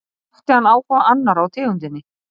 Vakti hann áhuga annarra á tegundinni.